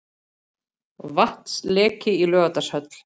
Vatnsleki í Laugardalshöll